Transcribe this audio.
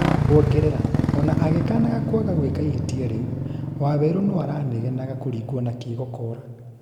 kuongerera, ona agĩkanaga kwaga gwĩka ihĩtia rĩu, waweru no aranegenaga kuringwo na kĩgokora